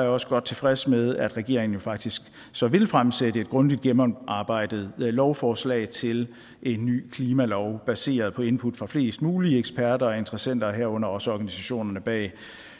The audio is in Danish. jeg også godt tilfreds med at regeringen jo faktisk så vil fremsætte et grundigt gennemarbejdet lovforslag til en ny klimalov baseret på input fra flest mulige eksperter og interessenter herunder også organisationerne bag